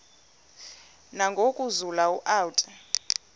nangoku zulu uauthi